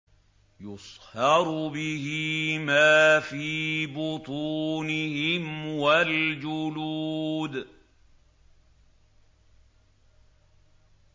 يُصْهَرُ بِهِ مَا فِي بُطُونِهِمْ وَالْجُلُودُ